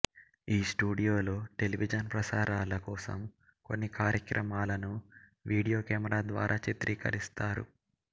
ఈ స్టూడియోలో టెలివిజన్ ప్రసారాల కోసం కొన్ని కార్యక్రమాలను వీడియో కెమెరా ద్వారా చిత్రీకరిస్తారు